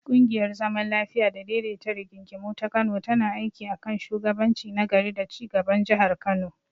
Ƙungiyar zaman lafiya da daidaita rigingimu ta Kano tana aiki a kan shugabanci na gari da ci gaban Jihar Kano.